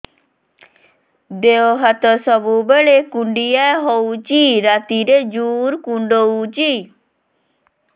ଦେହ ହାତ ସବୁବେଳେ କୁଣ୍ଡିଆ ହଉଚି ରାତିରେ ଜୁର୍ କୁଣ୍ଡଉଚି